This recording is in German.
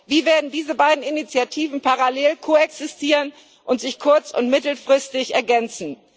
Wie werden diese beiden Initiativen parallel koexistieren und sich kurz und mittelfristig ergänzen?